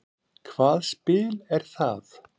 Hvað spil er það?